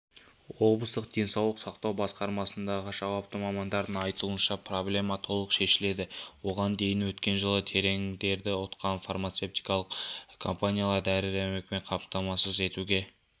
облыстық денсаулық сақтау басқармасындағы жауапты мамандардың айтуынша проблема толық шешіледі оған дейін өткен жылы тендерді ұтқан фармацевтикалық компаниялар дәрі-дәрмекпен қамтамасыз етуге